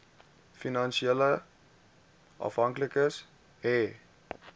finansiële afhanklikes hê